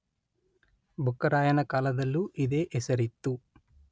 ಬುಕ್ಕರಾಯನ ಕಾಲದಲ್ಲೂ ಇದೇ ಹೆಸರಿತ್ತು.